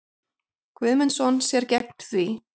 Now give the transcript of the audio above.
Guðmundsson sér gegn því.